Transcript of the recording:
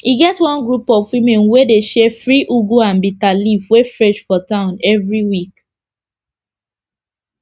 e get one group of women wey dey share free ugu and bitter leaf wey fresh for town everi week